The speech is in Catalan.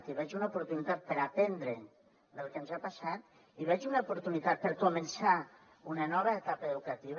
hi veig una oportunitat per aprendre del que ens ha passat hi veig una oportunitat per començar una nova etapa educativa